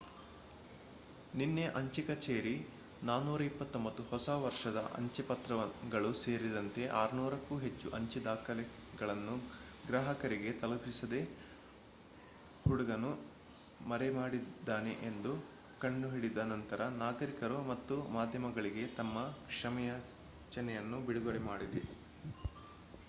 ನಿನ್ನೆ ಅಂಚೆ ಕಚೇರಿ 429 ಹೊಸ ವರ್ಷದ ಅಂಚೆ ಪತ್ರಗಳು ಸೇರಿದಂತೆ 600 ಕ್ಕೂ ಹೆಚ್ಚು ಅಂಚೆ ದಾಖಲೆಗಳನ್ನು ಗ್ರಾಹಕರಿಗೆ ತಲುಪಿಸದೆ ಹುಡುಗನು ಮರೆಮಾಡಿದ್ದಾನೆ ಎಂದು ಕಂಡುಹಿಡಿದ ನಂತರ ನಾಗರಿಕರು ಮತ್ತು ಮಾಧ್ಯಮಗಳಿಗೆ ತಮ್ಮ ಕ್ಷಮೆಯಾಚನೆಯನ್ನು ಬಿಡುಗಡೆ ಮಾಡಿದೆ